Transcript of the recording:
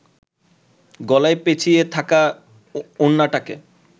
গলায় পেঁচিয়ে থাকা ওড়নাটাকে